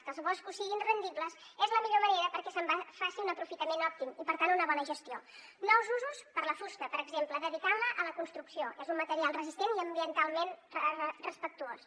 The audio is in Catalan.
que els boscos siguin rendibles és la millor manera perquè se’n faci un aprofitament òptim i per tant una bona gestió nous usos per a la fusta per exemple dedicant la a la construcció és un material resistent i ambientalment respectuós